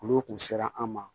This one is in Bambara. Olu kun sera an ma